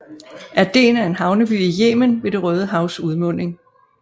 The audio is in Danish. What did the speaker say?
Aden er en havneby i Yemen ved det Røde Havs udmunding